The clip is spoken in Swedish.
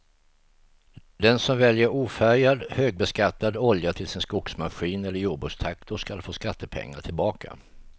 Den som väljer ofärgad, högbeskattad olja till sin skogsmaskin eller jordbrukstraktor ska få skattepengar tillbaka.